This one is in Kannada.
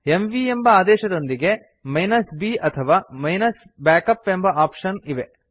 ಎಂವಿ ಎಂಬ ಆದೇಶದೊಂದಿಗೆ b ಅಥವಾ -backup ಎಂಬ ಆಪ್ಶನ್ ಇದೆ